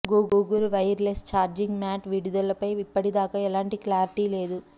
Google wireless charging mat విడుదలపై ఇప్పటిదాకా ఎలాంటి క్లారిటీ లేదు